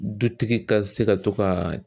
Dutigi ka se ka to ka